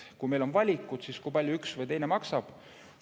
Kui meil on valikud, siis kui palju üks või teine valik maksab?